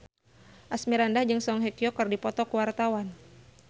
Asmirandah jeung Song Hye Kyo keur dipoto ku wartawan